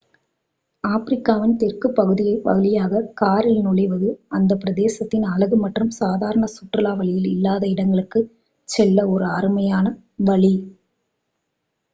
ஆப்பிரிக்காவின் தெற்குப் பகுதி வழியாக காரில் நுழைவது அந்த பிரதேசத்தின் அழகு மற்றும் சாதாரண சுற்றுலா வழியில் இல்லாத இடங்களுக்குச் செல்ல ஒரு அருமையான வழி